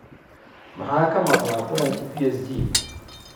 Maxaa ka maqnaa kulankii PSG?